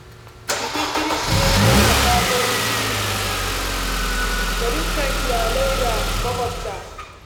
Bikin Kirsimeti yana kawo farin ciki ga dukkan iyalai da makwabta.